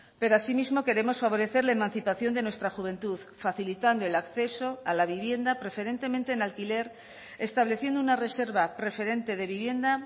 pero asimismo queremos favorecer la emancipación de nuestra juventud facilitando el acceso a la vivienda preferentemente en alquiler estableciendo una reserva preferente de vivienda